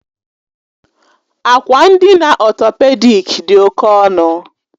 Akwa ndina ọtọpedik dị oke ọnụ